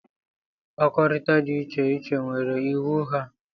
mkpakọrịta dị iche iche nwere iwu ha